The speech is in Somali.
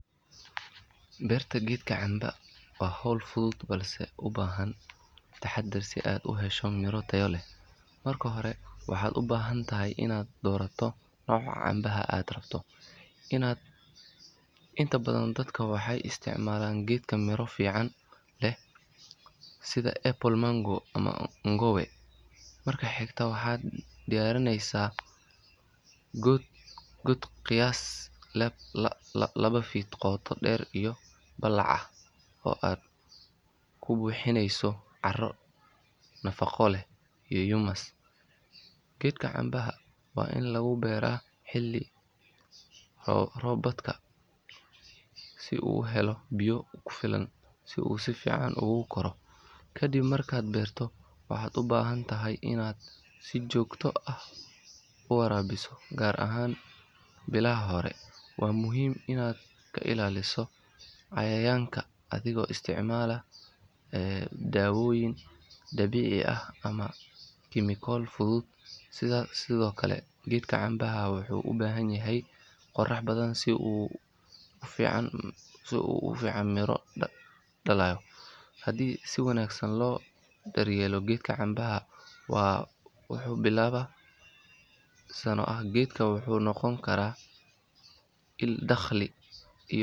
Beerta geedka cambe waa hawl fudud balse u baahan taxaddar si aad u hesho miro tayo leh. Marka hore waxaad u baahan tahay inaad doorato nooca cambaha aad rabto, inta badan dadka waxay isticmaalaan geedo miro fiican leh sida apple mango ama ngowe. Marka xigta waxaad diyaarinaysaa god qiyaastii laba feet qoto dheer iyo ballac ah oo aad ku buuxinayso carro nafaqo leh iyo humus. Geedka cambaha waa in lagu beeraa xilli roobaadka si uu u helo biyo ku filan si uu si fiican ugu koro. Ka dib markaad beerto, waxaad u baahan tahay inaad si joogto ah u waraabiso gaar ahaan bilaha hore. Waa muhiim inaad ka ilaaliso cayayaanka adigoo isticmaala dawooyin dabiici ah ama kiimiko fudud. Sidoo kale geedka cambaha wuxuu u baahan yahay qorrax badan si uu si fiican u miro dhaliyo. Haddii si wanaagsan loo daryeelo geed cambaha ah wuxuu bilaabaa inuu miro dhasho muddo saddex ilaa afar sano ah. Geedkan wuxuu noqon karaa il dakhli iyo miraha nafaqo leh.